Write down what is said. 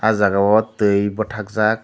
aw jaaga o twi batakjak.